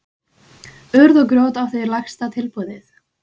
Urð og grjót átti lægsta tilboðið